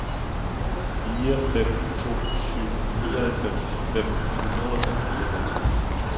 fire fem to syv nioghalvfems fem hundrede og fireoghalvtreds